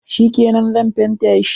Shikenan, Zan fenta shi.